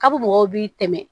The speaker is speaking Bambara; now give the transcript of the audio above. Kabp mɔgɔw b'i dɛmɛ